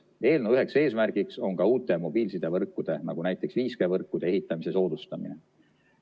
Eelnõu üheks eesmärgiks on uute mobiilsidevõrkude, näiteks 5G-võrkude ehitamise soodustamine.